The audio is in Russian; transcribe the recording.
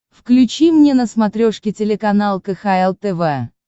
включи мне на смотрешке телеканал кхл тв